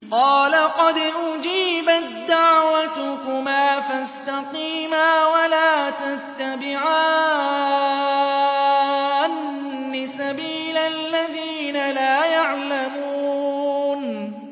قَالَ قَدْ أُجِيبَت دَّعْوَتُكُمَا فَاسْتَقِيمَا وَلَا تَتَّبِعَانِّ سَبِيلَ الَّذِينَ لَا يَعْلَمُونَ